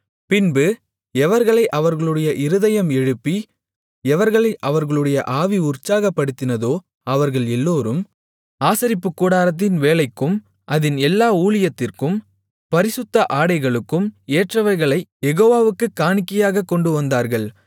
பின்பு எவர்களை அவர்களுடைய இருதயம் எழுப்பி எவர்களை அவர்களுடைய ஆவி உற்சாகப்படுத்தினதோ அவர்கள் எல்லோரும் ஆசரிப்புக்கூடாரத்தின் வேலைக்கும் அதின் எல்லா ஊழியத்திற்கும் பரிசுத்த ஆடைகளுக்கும் ஏற்றவைகளைக் யெகோவாவுக்குக் காணிக்கையாகக் கொண்டுவந்தார்கள்